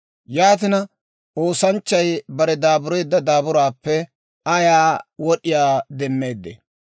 Yaatina, oosanchchay bare daabureedda daaburaappe ayaa wod'iyaa demmeeddee?